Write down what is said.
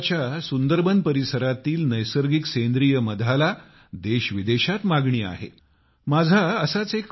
पश्चिम बंगालच्या सुंदरबन परिसरातील नैसर्गिक सेंद्रिय मध देश विदेशात प्रसिद्ध आहे